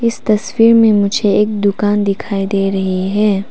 इस तस्वीर में मुझे एक दुकान दिखाई दे रही है।